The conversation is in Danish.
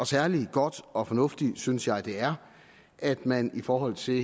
særlig godt og fornuftigt synes jeg det er at man i forhold til